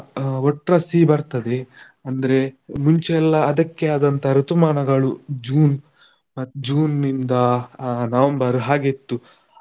ಒಟ್ಟ್ರಾಶಿ ಬರ್ತದೆ, ಅಂದ್ರೆ ಮುಂಚೆ ಎಲ್ಲ ಅದಕ್ಕೆ ಆದಂತ ಋತುಮಾನಗಳು June, June ನಿಂದ November ಹಾಗೆ ಇತ್ತು.